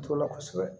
T'o la kosɛbɛ